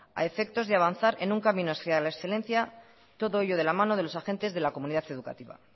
a efectos de avanzar en un camino hacia la excelencia todo ello de la mano de los agentes de la comunidad educativa